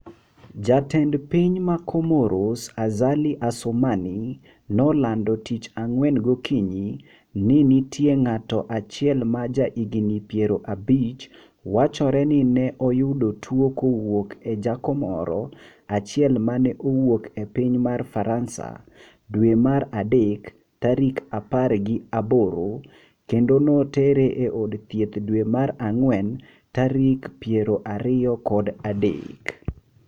Jatend piny ma komoros Azali Assoumani, nolando tich ang'wen gokinyi ni nitie ng'ato achiel ma ja higni piero abich wachore ni ne oyudo tuwo kowuok e jakomoro achiel mane owuok e piny mar faransa dwe mar adek tarik apar gi aboro, kende notere e od thieth dwe mar ang’wen tarik piero ariyo kod adek